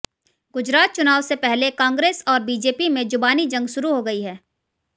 गुजरात चुनाव से पहले कांग्रेस और बीजेपी में जुबानी जंग शुरू हो गई है